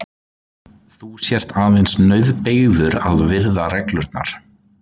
Þú sért aðeins nauðbeygður að virða reglurnar.